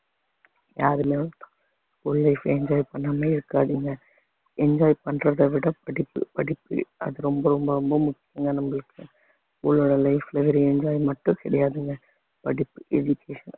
school life enjoy பண்ணாமயே இருக்காதீங்க enjoy பண்றத விட படிப்பு படிப்பு அது ரொம்ப ரொம்ப ரொம்ப முக்கியம்ங்க நம்மளுக்கு உங்களோட life ல வெறும் enjoy மட்டும் கிடையாதுங்க படிப்பு education